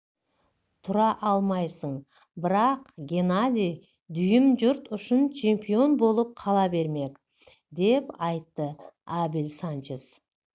тұра алмайсың бірақ геннадий дүйім жұрт үшін чемпион болып қала бермек деп айтты абель санчес